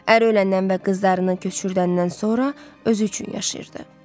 Əri öləndən və qızlarını köçürdəndən sonra özü üçün yaşayırdı.